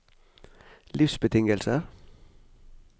livsbetingelser